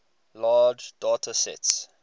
large data sets